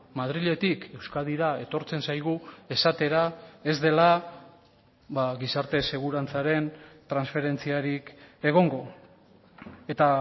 madriletik euskadira etortzen zaigu esatera ez dela gizarte segurantzaren transferentziarik egongo eta